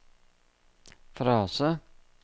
frase